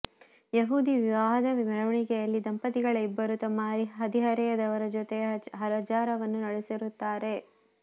ಯಹೂದಿ ವಿವಾಹದ ಮೆರವಣಿಗೆಯಲ್ಲಿ ದಂಪತಿಗಳ ಇಬ್ಬರೂ ತಮ್ಮ ಹದಿಹರೆಯದವರ ಜೊತೆ ಹಜಾರವನ್ನು ನಡೆಸಿರುತ್ತಾರೆ